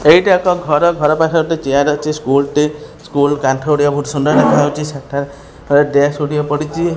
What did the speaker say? ଏଇଟା ଏକ ଘର ଘରପାଖେ ଗୋଟେ ଚେୟାର ଅଛି ସ୍କୁଲ ଟେ ସ୍କୁଲ କାନ୍ଥରେ ଗୋଟେ ସୁନାର କରାଯାଉଛି ସେଠାରେ ଡେସ୍କ ଗୁଡିକ ପଡ଼ିଛି।